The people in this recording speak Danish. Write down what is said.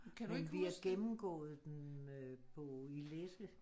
Men vi har gennemgået den på øh i læse